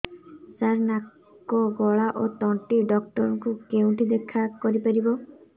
ସାର ନାକ ଗଳା ଓ ତଣ୍ଟି ଡକ୍ଟର ଙ୍କୁ କେଉଁଠି ଦେଖା କରିପାରିବା